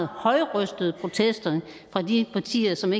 højrøstede protester fra de partier som